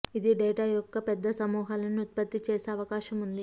ఇది డేటా యొక్క పెద్ద సమూహాలను ఉత్పత్తి చేసే అవకాశం ఉంది